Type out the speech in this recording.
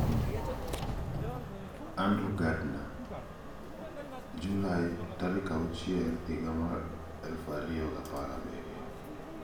#insanHaklarıSavunucularınaDokunma ? Andrew Gardner (@andrewegardner) July 6, 2017